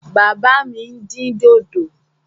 Bàbá mi dín dòdò.